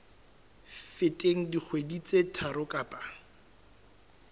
feteng dikgwedi tse tharo kapa